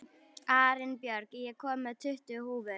Arinbjörg, ég kom með tuttugu húfur!